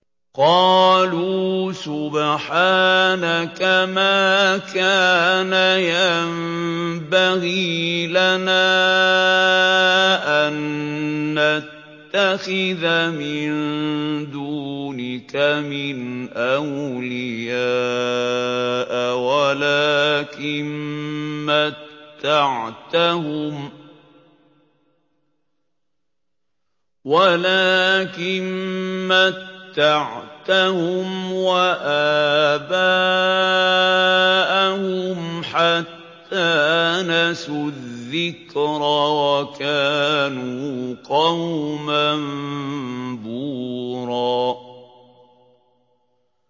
قَالُوا سُبْحَانَكَ مَا كَانَ يَنبَغِي لَنَا أَن نَّتَّخِذَ مِن دُونِكَ مِنْ أَوْلِيَاءَ وَلَٰكِن مَّتَّعْتَهُمْ وَآبَاءَهُمْ حَتَّىٰ نَسُوا الذِّكْرَ وَكَانُوا قَوْمًا بُورًا